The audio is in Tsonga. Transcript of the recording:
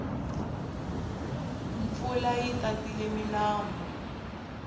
mpfula yi tatile milambu